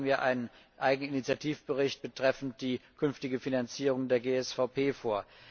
bereiten wir einen eigenen Initiativbericht betreffend die künftige Finanzierung der GSVP vor.